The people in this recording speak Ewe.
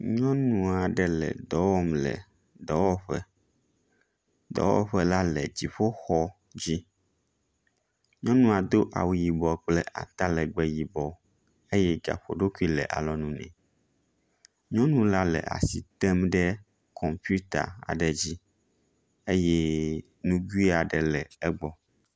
Nyɔnu aɖe le dɔ wɔm le dɔwɔƒe, dɔwɔƒe la le dziƒoxɔ dzi, nyɔnua do awu yibɔ kple atalegbẽ yibɔ eye gaƒoɖokui le alɔ nu nɛ. Nyɔnu la le asi tem ɖe kɔmpita aɖe dzi eye nugui aɖe le egbɔ.